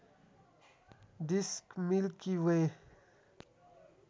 disk milky way